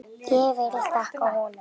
Ég vil þakka honum.